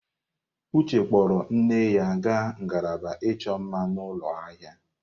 Uche kpọọrọ nne ya gaa ngalaba ịchọ mma n'ụlọ ahịa.